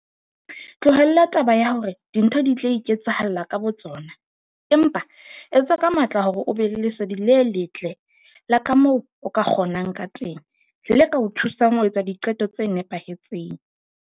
Tlohella taba ya hore dintho di tla iketsahalla ka botsona, empa etsa ka matla hore o be le lesedi le letle la ka moo o ka kgonang ka teng, le ka o thusang ho etsa diqeto tse nepahetseng.